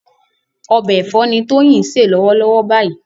Ọbẹ̀ ẹ̀fọ́ ni Tóyìn ń se lọ́wọ́lọ́wọ́ báyìí